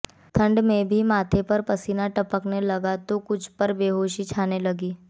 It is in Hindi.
ठंड में भी माथे पर पसीना टपकने लगा तो कुछ पर बेहोशी छाने लगी